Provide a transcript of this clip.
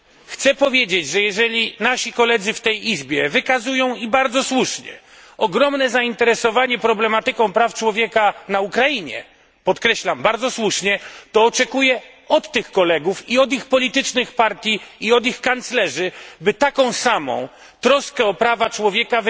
Chcę powiedzieć, że jeżeli nasi koledzy w tej Izbie wykazują i bardzo słusznie ogromne zainteresowanie problematyką praw człowieka na Ukrainie podkreślam, bardzo słusznie to oczekuję od tych kolegów, od ich partii politycznych i od ich kanclerzy, by wykazywali taką samą troskę o prawa człowieka,